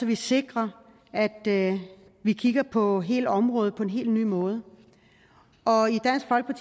vi sikrer at at vi kigger på hele området på en helt ny måde